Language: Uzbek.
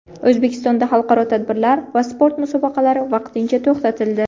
O‘zbekistonda xalqaro tadbirlar va sport musobaqalari vaqtincha to‘xtatildi .